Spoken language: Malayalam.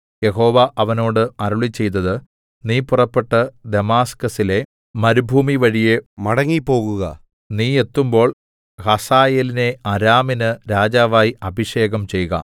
യഹോവ അവനോട് അരുളിച്ചെയ്തത് നീ പുറപ്പെട്ട് ദമാസ്കസിലെ മരുഭൂമിവഴിയെ മടങ്ങിപ്പോകുക നീ എത്തുമ്പോൾ ഹസായേലിനെ അരാമിന് രാജാവായി അഭിഷേകം ചെയ്ക